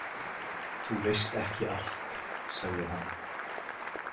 Þú veist ekki allt, sagði hann.